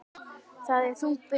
Það er þung byrði.